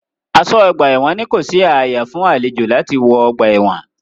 Aṣọ́-ọgbà-ẹ̀wọn ní kò sí ààyà fún àlejò láti wọ ọgbà-ẹ̀wọn.